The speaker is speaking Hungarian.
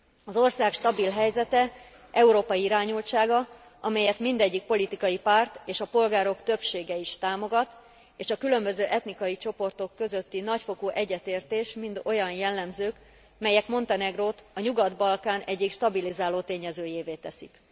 Az ország stabil helyzete, európai irányultsága, amelyet mindegyik politikai párt és a polgárok többsége is támogat, és a különböző etnikai csoportok közötti nagyfokú egyetértés, mind olyan jellemzők, melyek Montenegrót a Nyugat Balkán egyik stabilizáló tényezőjévé teszik.